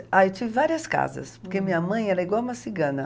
Ah, eu tive várias casas, porque minha mãe era igual uma cigana.